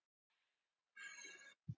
Kosið var í dag.